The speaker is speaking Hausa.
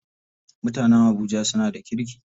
Mutanen habuja suna da kirki.